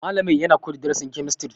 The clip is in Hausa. Malamin yana koyar da darasin kemistri.